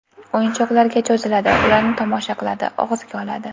O‘yinchoqlarga cho‘ziladi, ularni tomosha qiladi, og‘ziga oladi.